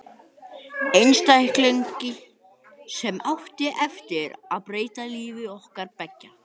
Einstakling sem átti eftir að breyta lífi okkar beggja.